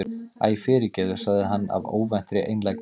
Æ, fyrirgefðu- sagði hann af óvæntri einlægni.